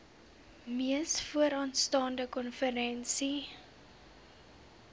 mees vooraanstaande konferensie